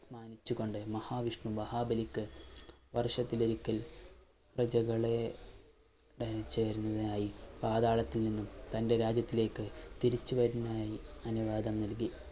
മാനിച്ചുകൊണ്ട് മഹാവിഷ്ണു മഹാബലിക്കു വർഷത്തിലൊരിക്കൽ പ്രജകളെ പാതാളത്തിൽ നിന്നും തന്റെ രാജ്യത്തിലേക്ക് തിരിച്ചു വരുന്നതിനായി അനുവാദം നൽകി